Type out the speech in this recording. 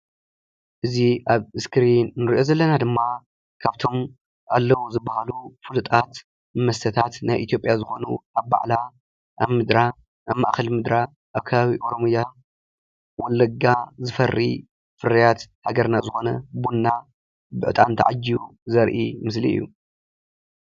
እዚ አብ እስክሪን እንሪኦ ዘለና ድማ ካብቶም ኣለው ዝበሃሉ ፍሉጣት መስተታት ናይ እትዮጵያ ዝኮኑ ኣብ ባዕላ ኣብ ምድራ ኣብ ማእከል ምድራ ኣብ ከባቢ ኦሮምያ ወለጋ ዝፈሪ ፍርያት ሃገርና ዝኮነ ቡና ብዕጣን ተዓጂቡ ዘርኢ ምስሊ እዩ።